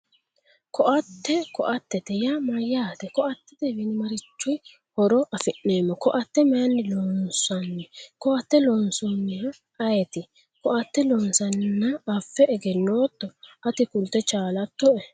Ko"atte ko"attete yaa mayyaate ko"attetewiinni marichi horo afi'neemmo ko"atte mayinni loonsanni ko"atte loosannohe ayeeti ko"atte loonsanni affe egennootto ati kulte chaalattoe